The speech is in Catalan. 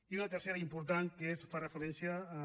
i una tercera important que fa referència a